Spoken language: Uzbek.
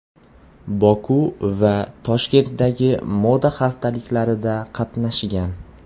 Boku va Toshkentdagi moda haftaliklarida qatnashgan.